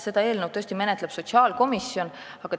Seda eelnõu tõesti menetleb sotsiaalkomisjon.